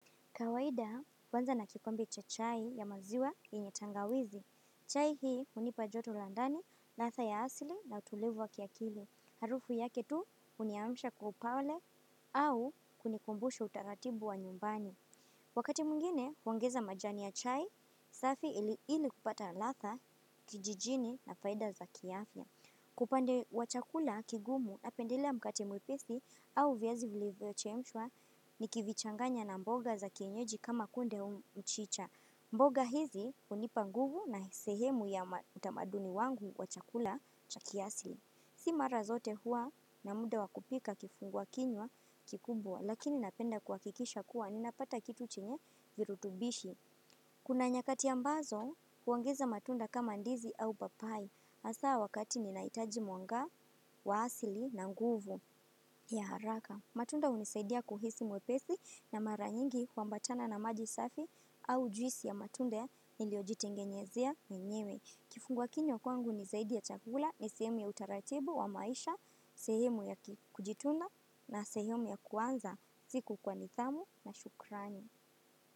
Kawaida, huanza na kikombe cha chai ya maziwa yenye tangawizi. Chai hii hunipa joto la ndani, ladha ya asili na utulivu wa kiakili. Harufu yake tu huniamisha kwa upaole au kunikumbusha utaratibu wa nyumbani. Wakati mwengine, huongeza majani ya chai, safi ili kupata ladha, kijijini na faida za kiafya. Kwa upande wa chakula kigumu napendelea mkate mwepesi au viazi vilivyochemshwa nikivichanganya na mboga za kienyeji kama kunde mchicha. Mboga hizi hunipa nguvu na ni sehemu ya utamaduni wangu wa chakula chakiasili. Si mara zote huwa na muda wa kupika kifunguakinywa kikubwa lakini napenda kuhakikisha kuwa ninapata kitu chenye virutubishi. Kuna nyakati ambazo, huongeza matunda kama ndizi au papai. Hasa wakati ninahitaji mwanga, wa asili na nguvu. Ya haraka, matunda hunisaidia kuhisi mwepesi na mara nyingi huambatana na maji safi au juisi ya matunda ya niliojitengenyezea mwenyewe. Kifunguakinywa kwangu ni zaidi ya chakula yenye utaratibu wa maisha sehemu ya kujitunza na sehemu ya kuanza siku kwa nidhamu na shukrani.